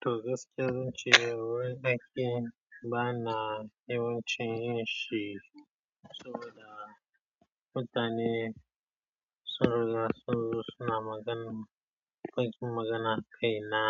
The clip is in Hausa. Toh gaskiya zan ce wai ɗakin ba na yawanci yin shi saboda mutane suna magana, kwancin magana kai na